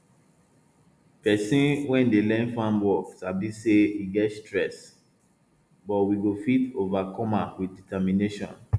person wey dey learn farm work sabi say e get stress but we go fit overcome am with determination